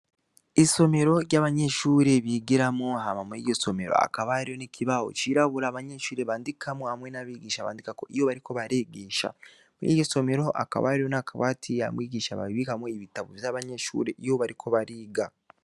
Isomero ry'abanyeshure bigiramwo, hama mw'iryo somero hakaba hariyo ikibaho c'irabura abanyeshure bandikmwo hamwe n'abigisha bandikako iyo bariko barigisha. Mw'iryo somero hakaba hariyo n'akabati abigisha babikamwo ibitabo vy'amashure iyo bariko bariga.